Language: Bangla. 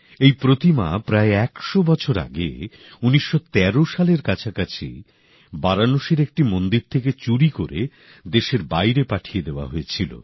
এই প্রতিমা প্রায় একশো বছর আগে ১৯১৩ সালের কাছাকাছি বারাণসীর একটি মন্দির থেকে চুরি করে দেশের বাইরে পাঠিয়ে দেওয়া হয়েছিল